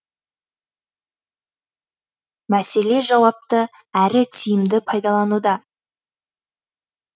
мәселе жауапты әрі тиімді пайдалануда